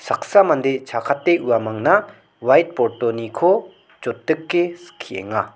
saksa mande chakate uamangna whiteboard-oniko jotdike skienga.